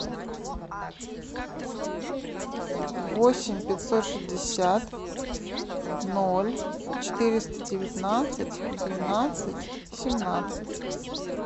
восемь пятьсот шестьдесят ноль четыреста девятнадцать двенадцать семнадцать